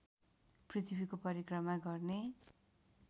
पृथ्वीको परिक्रमा गर्ने